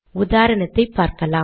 உதாரணத்தை பார்க்கலாம்